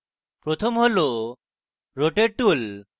প্রথম tool rotate tool